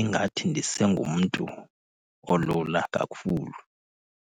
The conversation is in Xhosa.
ingathi ndisengumntu olula kakhulu.